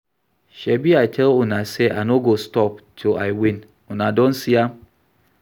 Shebi I tell una say I no go stop till I win, una don see am